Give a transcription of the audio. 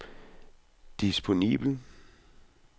disponibel